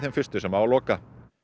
fyrstu sem á að loka